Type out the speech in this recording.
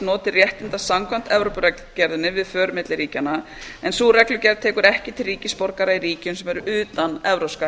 notið réttinda samkvæmt evrópureglugerðinni við för milli ríkjanna en sú reglugerð tekur ekki til ríkisborgara í ríkjum sem eru utan evrópska